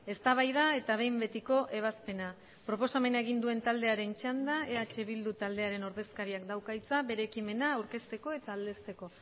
eztabaida eta behin betiko ebazpena proposamena egin duen taldearen txanda eh bildu taldearen ordezkariak dauka hitza bere ekimena aurkezteko eta aldezteko